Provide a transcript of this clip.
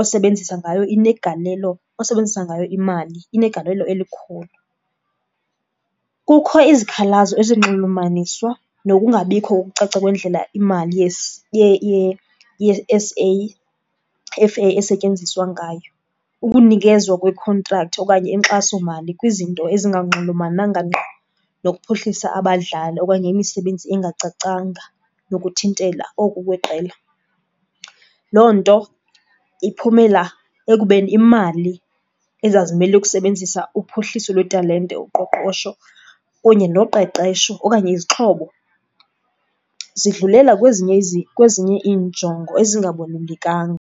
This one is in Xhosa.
osebenzisa ngayo inegalelo, osebenzisa ngayo imali inegalelo elikhulu. Kukho izikhalazo ezinxulumaniswa nokungabikho kokucaca kwendlela imali yeS_A_F_A esetyenziswa ngayo. Ukunikezwa kwekhontrakthi okanye inkxasomali kwizinto ezinganxulumananga ngqo nokuphuhlisa abadlali okanye imisebenzi engacacanga nokuthintela oku kweqela. Loo nto iphumela ekubeni iimali ezazimele ukusebenzisa uphuhliso lwetalente, uqoqosho kunye noqeqesho okanye izixhobo zidlulela kwezinye , kwezinye iinjongo ezingabalulekanga.